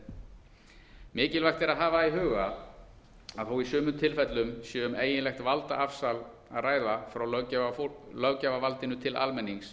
lýðræðið mikilvægt er að hafa í huga að þó í sumum tilfellum sé um eiginlegt valdaafsal sé að ræða frá löggjafarvaldinu til almennings